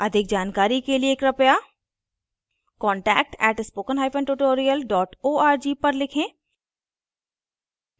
अधिक जानकारी के लिए कृपया contact @spokentutorial org पर लिखें